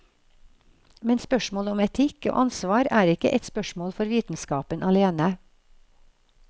Men spørsmål om etikk og ansvar er ikke et spørsmål for vitenskapen alene.